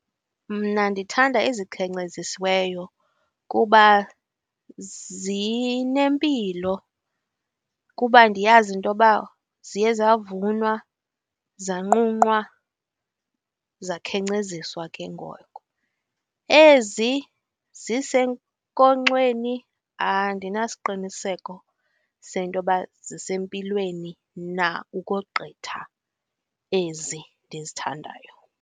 Mna ndithanda ezikhenkcezisiweyo kuba zinempilo kuba ndiyazi intoba ziye zavunwa, zanqunqwa, zakhenkceziswa ke ngoko. Ezi zisenkonkxeni andinasiqiniseko sentoba zisempilweni na ukogqitha ezi ndizithandayo.